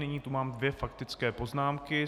Nyní tu mám dvě faktické poznámky.